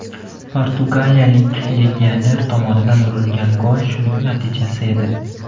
Portugaliyalik legioner tomonidan urilgan gol shuning natijasi edi.